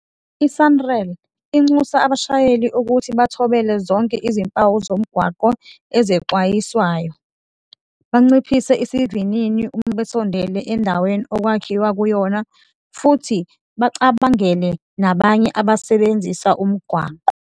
I-Sanral inxusa abashayeli ukuthi bathobele zonke izimpawu zomgwaqo ezexwayisayo, banciphise isivinini uma besondela endaweni okwakhiwa kuyona futhi bacabangelane nabanye abasebenzisa umgwaqo.